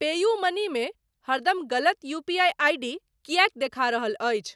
PayUmoney मे हरदम गलत यूपीआई आईडी किएक देखा रहल अछि ?